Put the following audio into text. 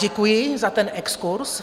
Děkuji za ten exkurz.